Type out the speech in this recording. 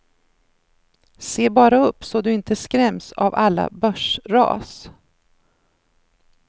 Se bara upp så du inte skräms av alla börsras.